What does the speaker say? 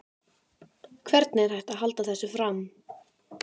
Hvernig er hægt að halda þessu fram?